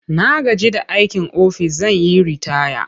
Na gaji da aikin ofis zan yi ritaya.